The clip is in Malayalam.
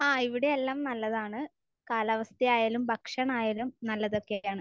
ആഹ്. ഇവിടെ എല്ലാം നല്ലതാണ്. കാലാവസ്ഥയായാലും ഭക്ഷണമായാലും നല്ലതൊക്കെയാണ്.